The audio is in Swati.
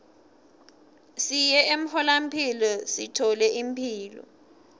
siye emtfolamphilo sithole imphilo